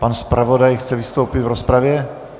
Pan zpravodaj chce vystoupit v rozpravě?